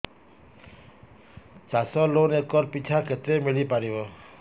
ଚାଷ loan acre ପିଛା କେତେ ମିଳି ପାରିବ